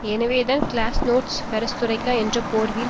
எனவேதான் glasnost perestroika என்ற போர்வையில்